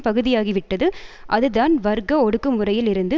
பகுதியாகி விட்டது அதுதான் வர்க்க ஒடுக்குமுறையில் இருந்து